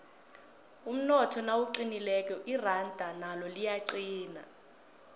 umnotho nawuqinileko iranda nalo liyaqina